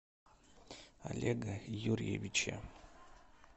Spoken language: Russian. олега юрьевича